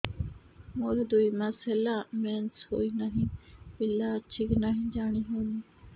ମୋର ଦୁଇ ମାସ ହେଲା ମେନ୍ସେସ ହୋଇ ନାହିଁ ପିଲା ଅଛି କି ନାହିଁ ଜାଣି ହେଉନି